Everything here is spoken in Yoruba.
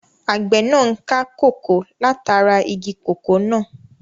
Àgbẹ̀ náà n ká kòkó látara igi kòkó náà